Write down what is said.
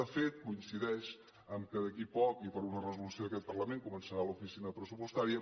de fet coincideix que d’aquí a poc i per una resolució d’aquest parlament començarà l’oficina pressupostària